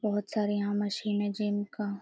बहोत सारे यहाँ मशीन है जिनका --